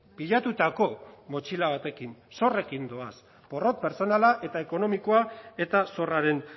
pilatutako motxila batekin zorrekin doaz porrot pertsonala eta ekonomikoa eta zorraren